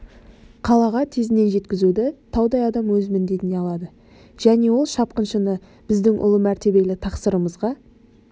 қалаға тезінен жеткізуді таудай адам өз міндетіне алады және ол шапқыншыны біздің ұлы мәртебелі тақсырымызға